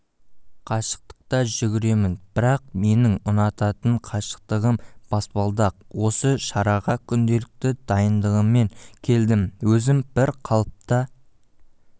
қашықтықта жүргенмін бірақ менің ұнататын қашықтығым баспалдақ осы шараға күнделікті дайындығыммен келдім өзім бір қалыпта